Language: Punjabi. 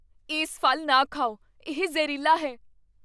ਇਸ ਫ਼ਲ ਨਾ ਖਾਓ। ਇਹ ਜ਼ਹਿਰੀਲਾ ਹੈ।